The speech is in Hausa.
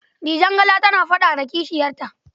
Dijangala tana faɗa da kishiyarta.